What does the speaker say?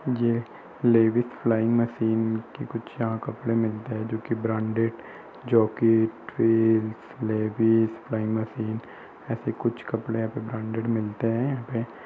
ये Levi's flying machine की कुछ यहाँ कपड़े मिलते हैं जोकि ब्रांडेड जाकी लेविस फ्लाइंग मशीन ऐसे कुछ कपड़े यहाँ पे ब्रांडेड मिलते हैं यहाँ पे ।